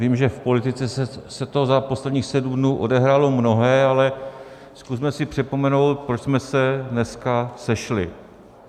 Vím, že v politice se toho za posledních sedm dnů odehrálo mnohé, ale zkusme si připomenout, proč jsme se dneska sešli.